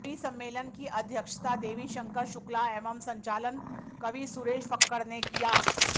कवि सम्मेलन की अध्यक्षता देवी शंकर शुक्ला एवं संचालन कवि सुरेश फक्कड़ ने किया